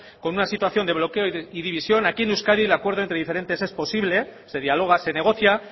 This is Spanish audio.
con una situación de bloqueo y división aquí en euskadi el acuerdo entre diferentes es posible se dialoga se negocia